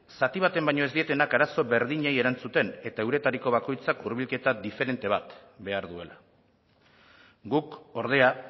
zati baten baino ez dietenak arazo berdinei erantzuten eta euretariko bakoitzak hurbilketa diferente bat behar duela guk ordea